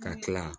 Ka kila